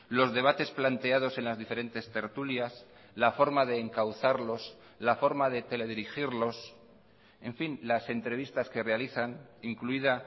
los debates planteados en las diferentes tertulias la forma de encauzarlos la forma de teledirigirlos en fin las entrevistas que realizan incluida